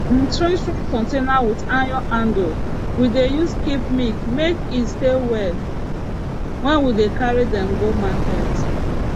na strong strong container with iron handle we dey use keep milk make e stay well wen we dey carry dem go market